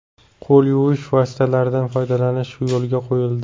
Qo‘l yuvish vositalaridan foydalanish yo‘lga qo‘yildi.